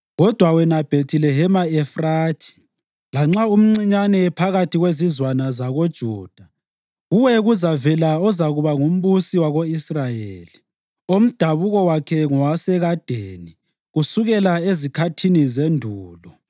“Kodwa wena Bhethilehema Efrathi, lanxa umncinyane phakathi kwezizwana zakoJuda, kuwe kuzavela ozakuba ngumbusi wako-Israyeli, omdabuko wakhe ngowasekadeni, kusukela ezikhathini zendulo.”